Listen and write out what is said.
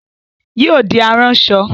Yóò di aráṣọ